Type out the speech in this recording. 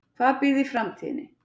Hvað býr í framtíðinni?